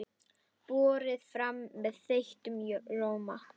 Borið fram með þeyttum rjóma.